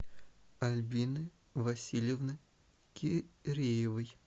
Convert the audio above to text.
альбины васильевны киреевой